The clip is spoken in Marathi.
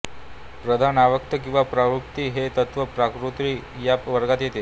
प्रधान अव्यक्त किंवा प्रकृती हे तत्त्व प्रकृती या वर्गात येते